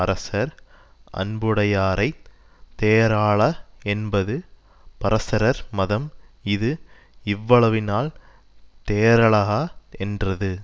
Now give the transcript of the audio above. அரசர் அன்புடையாரை தேறால என்பது பரசரர் மதம் இது இவ்வளவினால் தேறலகா தென்றது